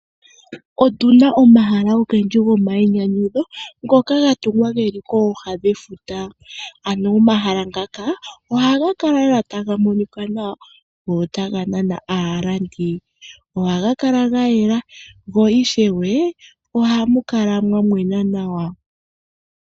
Otu na omahala ogendji gomayinyanyudho ngoka ga tungwa ge li kooha dhefuta. Anuwa omahala ngaka ohaga kala lela taga monika nawa go otaga nana aalandi. Ohaga kala ga yela go ishewe ohamu kala mwa mwena nawa.